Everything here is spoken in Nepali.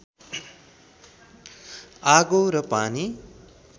आगो र पानी